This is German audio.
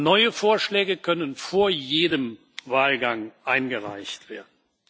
Neue Vorschläge können vor jedem Wahlgang eingereicht werden.